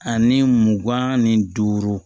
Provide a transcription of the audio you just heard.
Ani mugan ni duuru